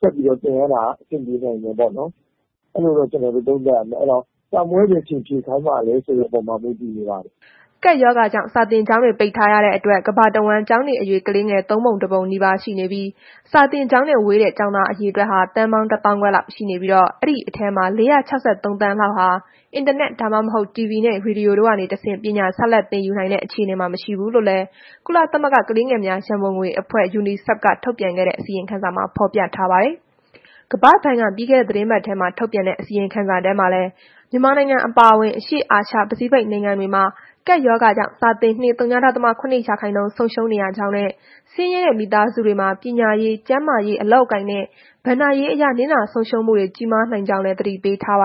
ဆက်ပြီးတော့ သင်ရတာ အဆင်ပြေနိုင်တယ်ပေါ့နော်။ အဲ့လိုတော့ ကျနော်တို့ သုံးသပ်ရပါတယ်။ အဲ့တော့ စာမေးပွဲဘယ်အချိန်ဖြေခိုင်းမှာလည်း ဆိုတဲ့အပေါ်မှာ မူတည်နေပါတယ်။” ကပ်ရောဂါကြောင့် စာသင်ကျောင်းတွေ ပိတ်ထားရတဲ့အတွက် ကမ္ဘာတဝန်း ကျောင်းနေအရွယ် ကလေးငယ် ၃ ပုံ ၁ ပုံနီးပါး ရှိနေပြီး၊ စာသင်ကျောင်းနဲ့ ဝေးတဲ့ ကျောင်းသား အရေအတွက်ဟာ သန်းပေါင်း ၁၅,၀၀၀ လောက်ရှိနေပြီး ဒီအထဲမှာ ၄၆၃ သန်းလောက်ဟာ အင်တာနက်၊ ဒါမှမဟုတ် တီဗွီနဲ့ ရေဒီယိုတွေကနေတဆင့် ပညာဆက်လက် သင်ယူနိုင်တဲ့ အခြေအနေမှာ မရှိဘူးလို့လည်း ကုလသမဂ္ဂ ကလေးငယ်များ ရန်ပုံငွေအဖွဲ့ Unicef က ထုတ်ပြန်ခဲ့တဲ့ အစီရင်ခံစာမှာ ဖော်ပြထားပါတယ်။ ကမ္ဘာ့ဘဏ်က ပြီးခဲ့တဲ့ သီတင်းပတ်ထဲ ထုတ်ပြန်တဲ့ အစီရင်ခံစာထဲမှာလည်း မြန်မာနိုင်ငံ အပါအဝင် အရှေ့အာရှ ပစိဖိတ်နိုင်ငံတွေမှာ ကပ်ရောဂါကြောင့် စာသင်နှစ် ဝ.၇ ရာခိုင်နှုန်း ဆုံးရှုံးရကြောင်းနဲ့ ဆင်းရဲတဲ့ မိသားစုတွေမှာ ပညာရေး၊ ကျန်းမာရေး၊ အလုပ်အကိုင်နဲ့ ဘဏ္ဍာရေးအရ နစ်နာဆုံးရှုံးမှုတွေ ကြီးမားနိုင်ကြောင်းလည်း သတိပေးထားပါ